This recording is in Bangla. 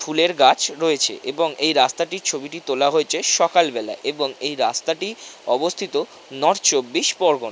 ফুলের গাছ রয়েছেএবং এই রাস্তাটির ছবিটি তোলা হয়েছে সকালবেলায়এবং এই রাস্তাটি অবস্থিত নর্থ চব্বিশ পরগনায়।